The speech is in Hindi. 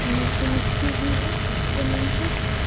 नीचे मिट्टी भी है जमीन पे।